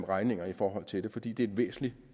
regninger i forhold til det fordi det er et væsentligt